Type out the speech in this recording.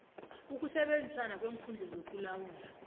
ukusebenzisana kweenkhungo zokulawulwa